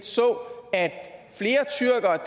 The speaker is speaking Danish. så